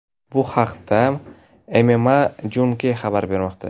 Bu haqda MMAJunkie xabar bermoqda .